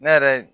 Ne yɛrɛ